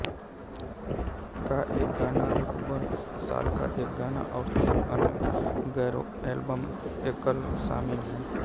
का एक गाना रबर सॉल का एक गाना और तीन अन्य गैरएल्बम एकल शामिल हैं